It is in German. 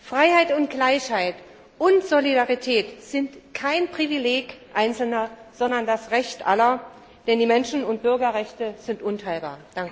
Freiheit und Gleichheit und Solidarität sind kein Privileg Einzelner, sondern das Recht Aller, denn die Menschen und Bürgerrechte sind unteilbar.